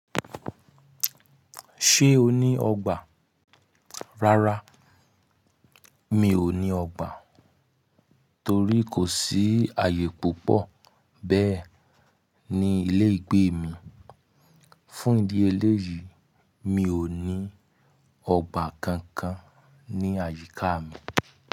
Ṣé o ní ọgbà? Rárá, mi ò ní ọgbà torí kò sí ààyè púpọ̀ bẹ́ẹ̀ ní ilé ìgbé mi. Fún ìdí eléyìí, mi ò ní ọgbà kankan ní àyíká mi.